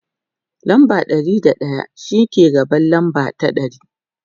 lamba Ɗari da daya shine ke gaban lamba ta ɗari